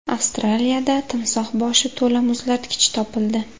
Avstraliyada timsoh boshi to‘la muzlatgich topildi.